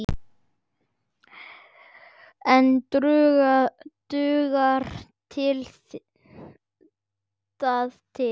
En dugar það til?